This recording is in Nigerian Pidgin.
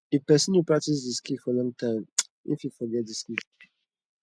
if persin no practice di skill for long time in fit forget di skill